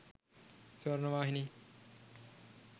swarnavahini